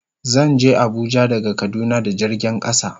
Zan je Abuja daga kaduna da jirgin kasa.